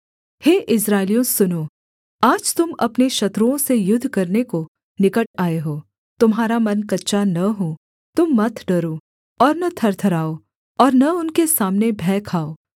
हे इस्राएलियों सुनो आज तुम अपने शत्रुओं से युद्ध करने को निकट आए हो तुम्हारा मन कच्चा न हो तुम मत डरो और न थरथराओ और न उनके सामने भय खाओ